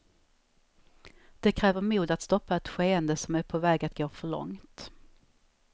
Det kräver mod att stoppa ett skeende som är på väg att gå för långt.